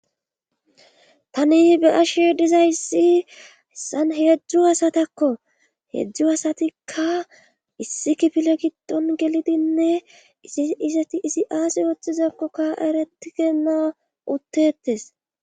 Tani be ashe dizayssi hessan heedzjzu hasatakko heedzdzu asatikka issi kifile giddon gelidinne isi iseti isi aasi ooththizakkokka eretigena uttetes